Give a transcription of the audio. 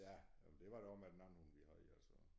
Ja jamen det var det også med den anden hund vi havde altså